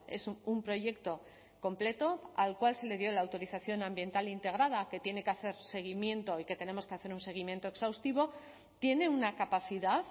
es un proyecto completo al cual se le dio la autorización ambiental integrada que tiene que hacer seguimiento y que tenemos que hacer un seguimiento exhaustivo tiene una capacidad